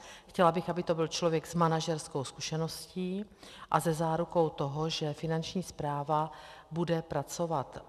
Chtěla bych, aby to byl člověk s manažerskou zkušeností a se zárukou toho, že Finanční správa bude pracovat.